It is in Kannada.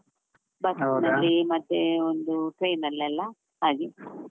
ಮತ್ತೆ ಒಂದು train ಅಲ್ಲೆಲ್ಲ ಹಾಗೆ.